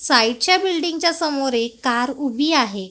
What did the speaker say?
साईच्या बिल्डिंगच्या समोर एक कार उभी आहे.